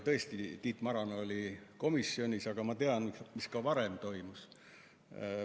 Tõesti, Tiit Maran oli komisjonis, aga ma tean ka, mis varem toimus.